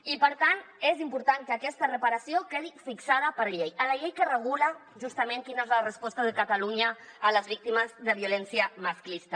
i per tant és important que aquesta reparació quedi fixada per llei a la llei que regula justament quina és la resposta de catalunya a les víctimes de violència masclista